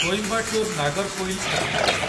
Coimbatore Nagercoil express